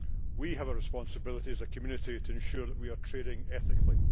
We have a responsibility as a community to ensure that we are trading ethically.